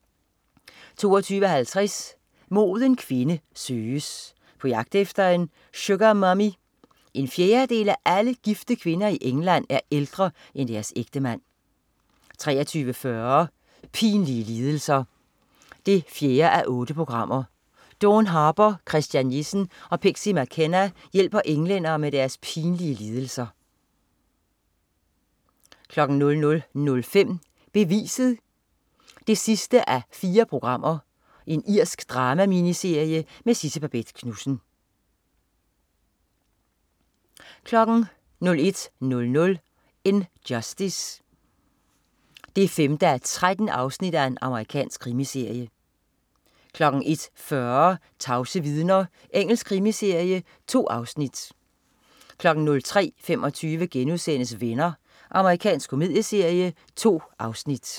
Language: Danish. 22.50 Moden kvinde søges. På jagt efter en Sugar Mummy? En fjerdedel af alle gifte kvinder i England er ældre end deres ægtemand 23.40 Pinlige lidelser 4:8. Dawn Harper, Christian Jessen og Pixie McKenna hjælper englænder med deres pinlige lidelser 00.05 Beviset 4:4. Irsk drama-miniserie med Sidse Babett Knudsen 01.00 In Justice 5:13. Amerikansk krimiserie 01.40 Tavse vidner. Engelsk krimiserie. 2 afsnit 03.25 Venner.* Amerikansk komedieserie. 2 afsnit